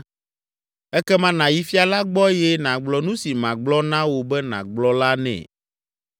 Ekema nàyi fia la gbɔ eye nàgblɔ nu si magblɔ na wò be nàgblɔ la nɛ.”